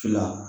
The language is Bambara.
Fila